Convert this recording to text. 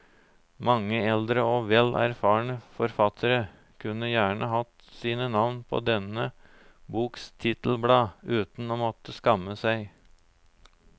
Mange eldre og vel erfarne forfattere kunne gjerne hatt sine navn på denne boks titelblad uten å måtte skamme seg.